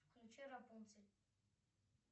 включи рапунцель